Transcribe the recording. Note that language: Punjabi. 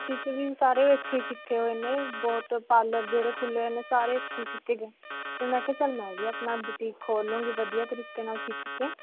ਦਿਨ ਸਾਰੇ ਇੱਥੋਂ ਕੀਤੇ ਹੋਏ ਨੇ ਬਹੁਤ parlor ਜਿਹੜੇ ਖੁੱਲੇ ਹੋਏ ਨੇ ਸਾਰੇ ਤੇ ਮੈਂ ਕਿਹਾ ਚਲ ਮੈਂ ਵੀ ਅਪਣਾ boutique ਖੋਲ ਲਵਾਂਗੀ ਵਧੀਆ ਤਰੀਕੇ ਨਾਲ ਸਿਖ ਕੇ.